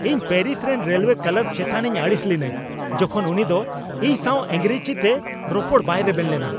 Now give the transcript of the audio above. ᱤᱧ ᱯᱮᱹᱨᱤᱥ ᱨᱮᱱ railway clerk ᱪᱮᱛᱟᱱᱤᱧ ᱟᱹᱲᱤᱥ ᱞᱤᱱᱟᱹᱧ ᱡᱚᱠᱷᱚᱱ ᱩᱱᱤ ᱫᱚ ᱤᱧ ᱥᱟᱶ ᱤᱝᱨᱮᱡᱤᱛᱮ ᱨᱚᱯᱚᱲ ᱵᱟᱭ ᱨᱮᱵᱮᱱ ᱞᱮᱱᱟ᱾